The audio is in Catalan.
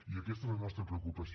i aquesta és la nostra preocupació